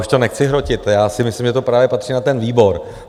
Už to nechci hrotit, já si myslím, že to právě patří na ten výbor.